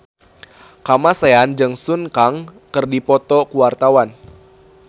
Kamasean jeung Sun Kang keur dipoto ku wartawan